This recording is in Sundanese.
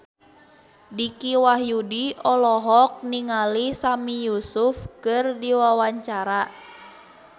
Dicky Wahyudi olohok ningali Sami Yusuf keur diwawancara